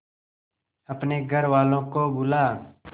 अपने घर वालों को बुला